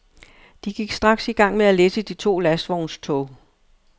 De gik straks i gang med at læsse de to lastvognstog.